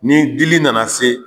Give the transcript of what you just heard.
Ni dili nana se